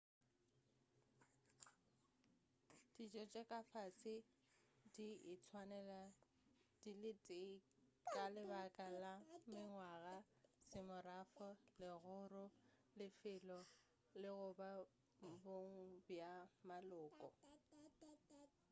ditšo tša ka fase di ka itswanela di le tee ka lebaka la mengwaga semorafo legoro lefelo le/goba bong bja maloko